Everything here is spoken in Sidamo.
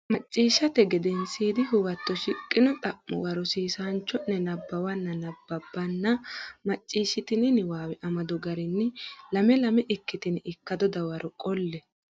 Macciishshate Gedensiidi Huwato shiqqino xa muwa rosiisaanchi o ne nabbawanna nabbabbanna macciishshitini niwaawe amado garinni lame lame ikkitine ikkado dawaro qolle.